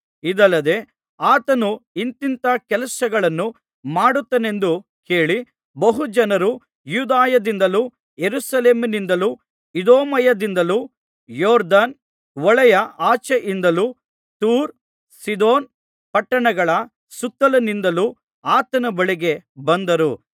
ಇದಲ್ಲದೆ ಆತನು ಇಂಥಿಂಥ ಕೆಲಸಗಳನ್ನು ಮಾಡುತ್ತಾನೆಂದು ಕೇಳಿ ಬಹುಜನರು ಯೂದಾಯದಿಂದಲೂ ಯೆರೂಸಲೇಮಿನಿಂದಲೂ ಇದೂಮಾಯದಿಂದಲೂ ಯೊರ್ದನ್ ಹೊಳೆಯ ಆಚೆಯಿಂದಲೂ ತೂರ್ ಸೀದೋನ್ ಪಟ್ಟಣಗಳ ಸುತ್ತಲಿನಿಂದಲೂ ಆತನ ಬಳಿಗೆ ಬಂದರು